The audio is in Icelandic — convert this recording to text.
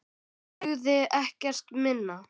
Dugði ekkert minna.